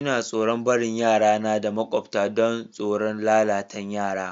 N'na tsoron barin yara na da maƙwabcta dan tsoron lalatan yara.